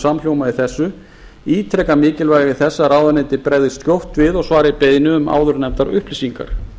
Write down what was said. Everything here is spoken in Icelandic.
í þessu ítreka mikilvægi þess að ráðuneyti bregðist skjótt við og svari beiðni um áðurnefndar upplýsingar